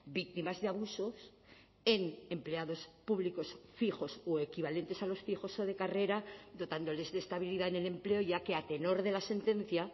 víctimas de abusos en empleados públicos fijos o equivalentes a los fijos o de carrera dotándoles de estabilidad en el empleo ya que a tenor de la sentencia